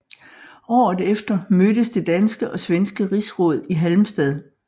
Året efter mødtes det danske og svenske rigsråd i Halmstad